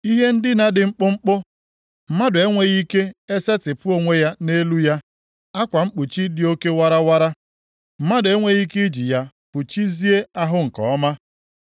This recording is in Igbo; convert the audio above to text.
Ihe ndina dị mkpụmkpụ, mmadụ enweghị ike esetipụ onwe ya nʼelu ya; akwa mkpuchi dị oke warawara, mmadụ enweghị ike iji ya fụchizie ahụ nke ọma.